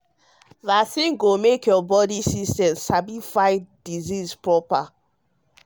vaccine go make your body system sabi fight disease proper.